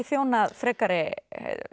þjónað frekari